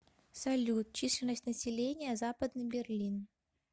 салют численность населения западный берлин